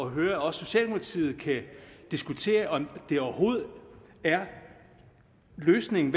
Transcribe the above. at høre at også socialdemokratiet kan diskutere om det overhovedet er løsningen